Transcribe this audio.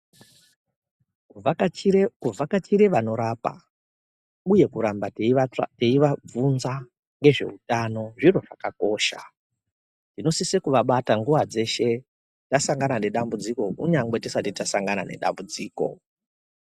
Kuvhakachire vanorapa uye kuramba teiva bvunza ngezveutano zviro zvakakosha. Tinosise kuvabata nguva dzeshe tasangana nedambudziko unyangwe tisati tasangana nedambudziko.